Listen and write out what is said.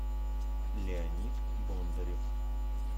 леонид бондарев